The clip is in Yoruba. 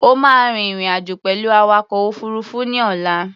O máa rin ìrìn-àjò pẹ̀lú awakọ̀ òfuruufú ní ọ̀la.